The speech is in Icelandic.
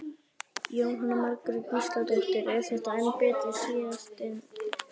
Jóhanna Margrét Gísladóttir: Er þetta betra en síðasti samningur?